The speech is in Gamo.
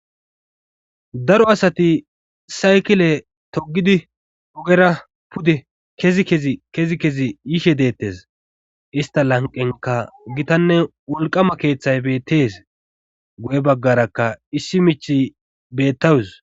daro asati saykile togidi ogera pudde kezi kezkezi kezi yishe deettes ista lanqenka gitanne wolqama keeththay bettees goye baggarakka issi mich bettawus